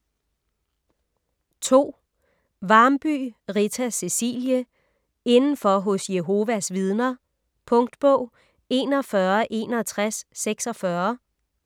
Varmby, Rita Cecilie: Indenfor hos Jehovas vidner Punktbog 416146